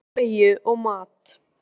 Hún vill hreina bleiu og mat.